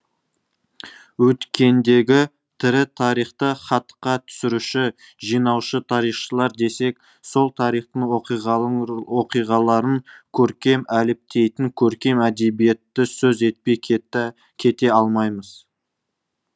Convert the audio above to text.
өткендегі тірі тарихты хатқа түсіруші жинаушы тарихшылар десек сол тарихтың оқиғаларын көркем әліптейтін көркем әдебиетті сөз етпей кете алмаймыз